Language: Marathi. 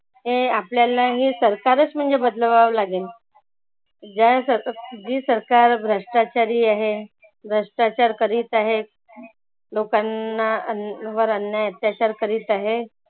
हे आपल्याला हे सरकारच म्हणजे बदलवा लागेल ज्या या स जी सरकार भ्रष्टाचारी आहे. भ्रष्टाचार करित आहे लोकांना अन वर अन्याय अत्याचार करित आहे.